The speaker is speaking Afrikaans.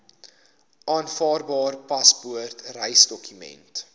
aanvaarbare paspoort reisdokument